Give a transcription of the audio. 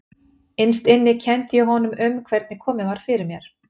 Innst inni kenndi ég honum um hvernig komið var fyrir mér.